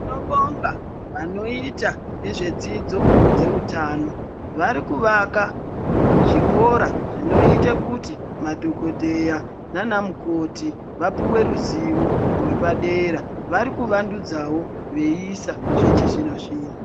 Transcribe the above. Tinobonga vanoita nezvedzidzo dzeutano, varikuvaka zvikora zvinoite kuti madhogodheya nana mukoti vapuve ruzivo rwepadera. Vari kuvandudzavo veiisa zvechizvino-zvino.